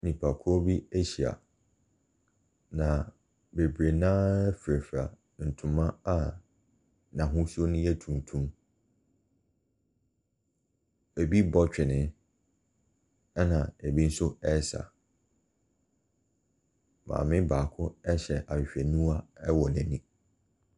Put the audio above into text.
Nnipakuo bi ahyia, na bebree no ara firafira ntoma a n'ahosuo no yɛ tuntum. Ɛbi rebɔ twene, ɛna ɛbi nso resa. Maame baako hyɛ ahwehwɛniwa wɔ n'ani.